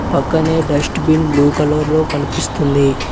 పక్కనే dustbin blue colour లో కనిపిస్తుంది.